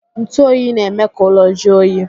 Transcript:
Ntu oyi na-eme ka ụlọ jụọ oyi.